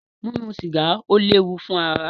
Mímu sìgá ó léwu fún ìlera.